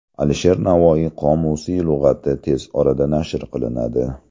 Alisher Navoiy qomusiy lug‘ati tez orada nashr qilinadi.